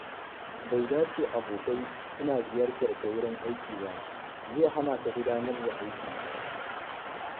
Bai dace abokai suna ziyartar ka wurin aiki ba, zai hana ka gudanar da aiki.